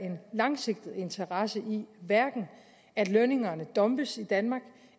en langsigtet interesse i at lønningerne dumpes i danmark